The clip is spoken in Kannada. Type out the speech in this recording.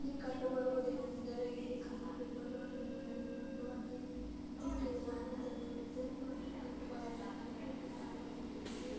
ಇಲ್ಲಿ ಕಂಡುಬರುವುದು ಏನ್ ಏನಂದರೆ ಇಲ್ಲಿ ಕಲರ್ ಪೇಪರ್ ಗಳನ್ನು ತಗೆದುಕೊಂಡು ಅಲ್ಲಿ ಇದನ್ನ ಇಟ್ಟಿದೀವಿ ಅಲ ಡಿಸೈನ್ ಮಾಡಿ ಕಟ್ ಮಾಡಿ ಅಂಟಿಸಿ.